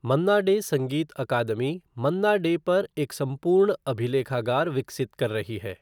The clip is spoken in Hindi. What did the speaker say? मन्ना डे संगीत अकादमी मन्ना डे पर एक संपूर्ण अभिलेखागार विकसित कर रही है।